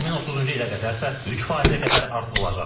2030-cu ilə qədərsə 3%-ə qədər artırılacaq.